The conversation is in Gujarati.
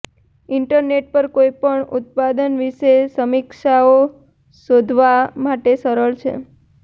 ઇન્ટરનેટ પર કોઈપણ ઉત્પાદન વિશે સમીક્ષાઓ શોધવા માટે સરળ છે